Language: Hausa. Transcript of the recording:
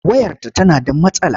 Wayarta tana da matsala.